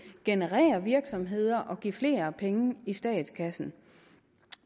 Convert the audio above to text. generere virksomheder og give flere penge i statskassen